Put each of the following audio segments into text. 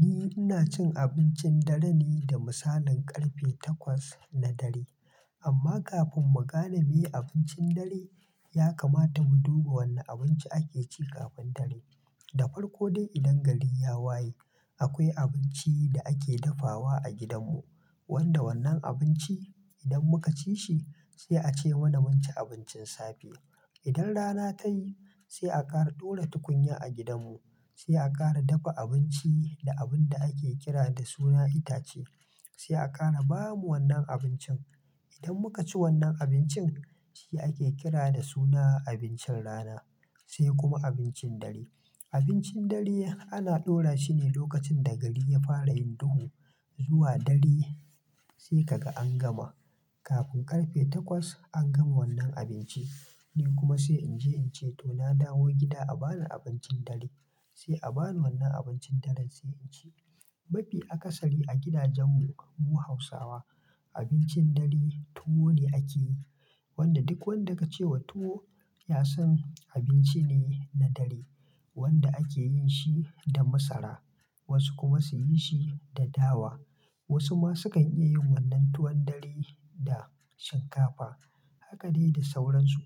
Ni ina cin abincin dare ne da misalin ƙarfe takwas na dare. Amma kafin mu gane meye abincin dare, ya kamata mu duba wanne abinci ake ci kafin dare. Da farko dai idan gari ya waye, akwai abinci da ake dafawa a gidanmu, wanda wannan abinci idan muka ci shi, sai a ce mana mun ci abincin safe. Idan rana ta yi, sai a ƙara ɗora tukunya a gidanmu, sai a ƙara dafa abinci da abun da ake kira da suna itace, sai a ƙara ba mu wannan abincin. Idan muka ci wannan abincin, shi ake kira da suna abincin rana, sai kuma abincin dare. Abincin dare ana ɗora shi ne lokacin da gari ya fara yin duhu zuwa dare sai kaga an gama. Kafin ƙarfe takwas an gama wannan abinci, ni kuma sai in je in ce to na dawo gida a bani abincin dare, sai a bani wannan abincin dare sai in ci. Mafi akasari a gidajenmu mu Hausawa abincin dare tuwo ne ake yi, wanda duk wanda ka ce wa tuwo ya san abinci ne na dare wanda ake yin shi da masara, wasu kuma su yi shi da dawa. Wasu ma su kan iya yin wannan tuwon dare da shinkafa. Haka dai da sauransu.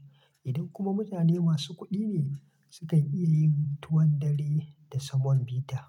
Idan kuma mutane masu kuɗi ne, su kan iya yin tuwon dare da semon bita.